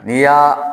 N'i y'a